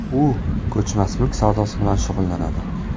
U ko‘chmas mulk savdosi bilan shug‘ullanadi.